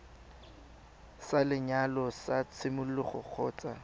sa lenyalo sa tshimologo kgotsa